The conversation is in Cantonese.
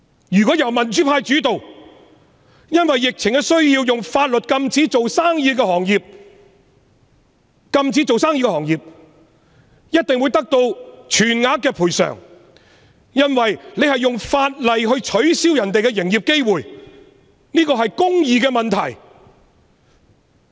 如果香港由民主派主導，因為疫情而採用法律手段禁止營業的行業，一定會得到全額賠償，因為政府是運用法例剝奪他們營業的機會，這是公義的問題。